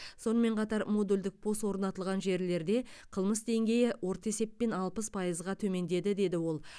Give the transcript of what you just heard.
сонымен қатар модульдік пост орнатылған жерлерде қылмыс деңгейі орта есеппен алпыс пайызға төмендеді деді ол